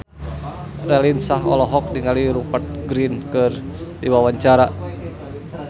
Raline Shah olohok ningali Rupert Grin keur diwawancara